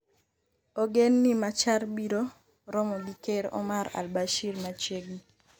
Ogen ni Machar biro romo gi Ker Omar al-Bashir machiegni.